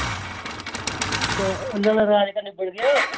ਉਹਨਾਂ ਦਾ ਰਾਜ ਕਰਨਾ ਭੁੱਲ ਗਈ ਓਏ।